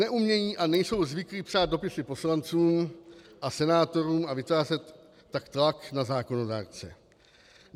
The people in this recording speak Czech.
Neumějí a nejsou zvyklí psát dopisy poslancům a senátorům, a vytvářet tak tlak na zákonodárce.